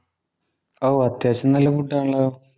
ഓ, അത്യാവശ്യം നല്ല ഫുഡ് ആണല്ലോ.